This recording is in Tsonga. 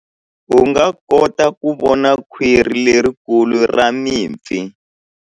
U nga kota ku vona khwiri lerikulu ra mipfi.